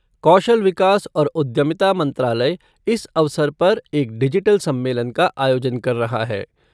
कौशल विकास और उद्यमिता मंत्रालय इस अवसर पर एक डिजिटल सम्मेलन का आयोजन कर रहा है।